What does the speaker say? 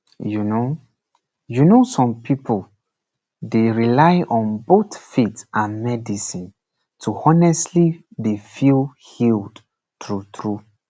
you know you know some pipu dey rely on both faith and medicine to honestly dey feel healed true true